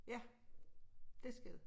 Ja dét skal det